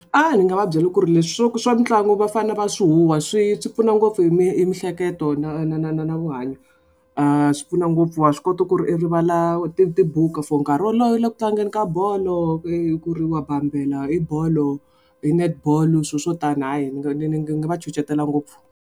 A ndzi nga va byela ku ri leswi swo swa mitlangu va fane va swi huwa swi swi pfuna ngopfu hi mihleketo na na na na na vuhanyo swi pfuna ngopfu wa swi kota ku ri i rivala ti tibuku for nkarhi wolowo i le ku tlangeni ka bolo i ku ri wa bambela i bolo hi net-ball swilo swo tani hayi ni ni ni ni nga va ngopfu.